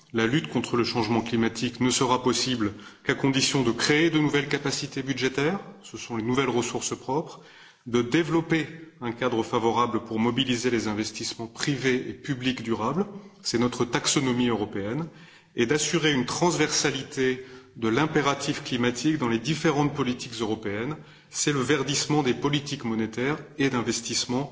La lutte contre le changement climatique ne sera possible qu'à condition de créer de nouvelles capacités budgétaires, ce sont les nouvelles ressources propres, de développer un cadre favorable pour mobiliser les investissements privés et publics durables, c'est notre taxonomie européenne, et d'assurer une transversalité de l'impératif climatique dans les différentes politiques européennes, c'est le verdissement des politiques monétaires et d'investissement